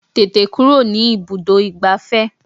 Tètè kúrò ní ibùdó ìgbafẹ́!